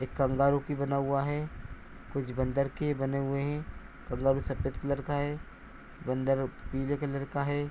एक कंगारू की बना हुआ है। कुछ बन्दर के बने हुए हैं। कंगारू सफ़ेद कलर का है बन्दर पीले कलर का है।